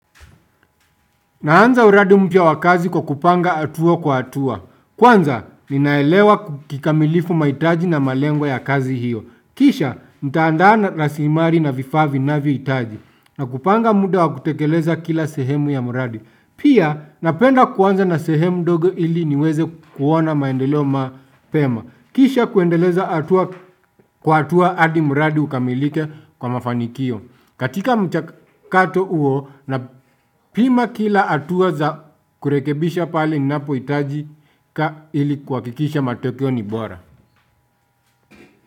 Naanza uradi mpya wakazi kwa kupanga hatua kwa hatua. Kwanza, ninaelewa kikamilifu maitaji na malengo ya kazi hiyo. Kisha, nitaandana lasimari na vifaa na vitaji. Na kupanga muda wa kutekeleza kila sehemu ya muradi. Pia, napenda kwanza na sehemu doge ili niweze kuona maendeleo mapema. Kisha kuendeleza hatua kwa hatua hadi muradi ukamilike kwa mafanikio. Katika mchakato uo napima kila atuwa za kurekebisha pale inapoitaji ili kwa kikisha matoyo ni bora.